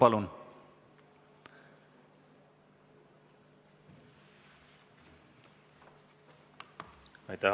Palun, kolm minutit lisaaega!